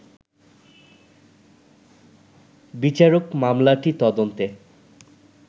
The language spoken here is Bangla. বিচারক মামলাটি তদন্তে